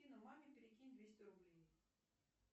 афина маме перекинь двести рублей